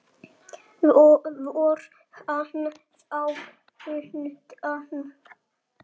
Fór hann þá undan.